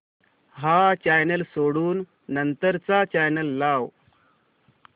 हा चॅनल सोडून नंतर चा चॅनल लाव